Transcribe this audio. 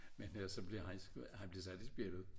Men altså han bliver sat i spjældet